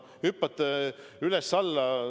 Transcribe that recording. Hüppate üles-alla.